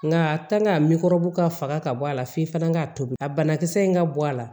Nka a ka faga ka bɔ a la f'i fana ka tobi a banakisɛ in ka bɔ a la